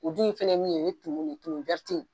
O dun fɛnɛ ye mun ye tumun de tumun